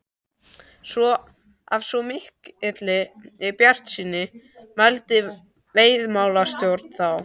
Af svo mikilli bjartsýni mælti veiðimálastjóri þá.